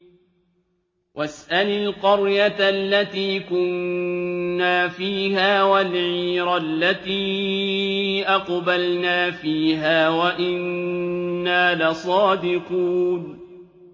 وَاسْأَلِ الْقَرْيَةَ الَّتِي كُنَّا فِيهَا وَالْعِيرَ الَّتِي أَقْبَلْنَا فِيهَا ۖ وَإِنَّا لَصَادِقُونَ